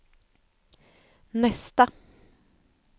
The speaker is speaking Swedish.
nästa